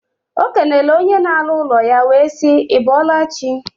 O kenele onye na alu ulo ya, we sii: I bolachi?